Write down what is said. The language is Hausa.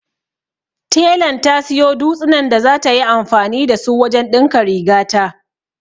Telan ta siyo dutsinan da zata yi anfani da su wajen ɗinka rigata.